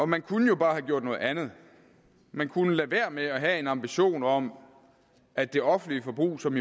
man kunne jo bare have gjort noget andet man kunne lade være med at have en ambition om at det offentlige forbrug som